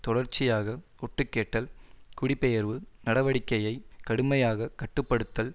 தொடர்ச்சியாக ஒட்டுக்கேட்டல் குடிபெயர்வு நடவடிக்கையை கடுமையாக கட்டு படுத்தல்